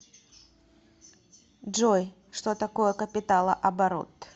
джой что такое капиталооборот